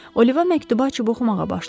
Oliva məktubu açıb oxumağa başladı.